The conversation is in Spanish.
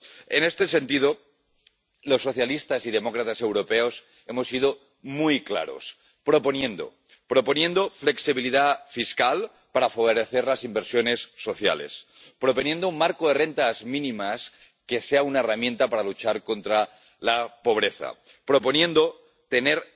En este sentido, en el Grupo de los Socialistas y Demócratas Europeos hemos sido muy claros proponiendo flexibilidad fiscal para favorecer las inversiones sociales, proponiendo un marco de rentas mínimas que sea una herramienta para luchar contra la pobreza, y proponiendo tener